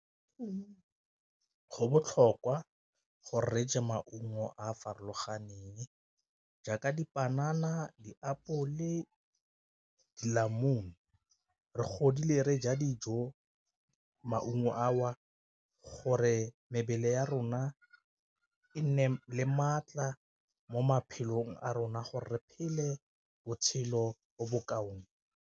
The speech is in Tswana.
Go botlhokwa go reye maungo a a farologaneng jaaka dipanana, diapole, . Re godile re ja dijo maungo a o gore mebele ya rona e nne le maatla mo maphelong a rona gore re phele botshelo bo bo kaone.